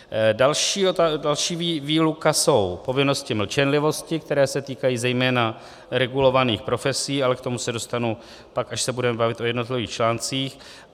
Další výluka jsou povinnosti mlčenlivosti, které se týkají zejména regulovaných profesí, ale k tomu se dostanu pak, až se budeme bavit o jednotlivých článcích.